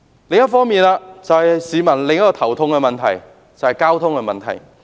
另一個令市民頭痛的就是交通問題。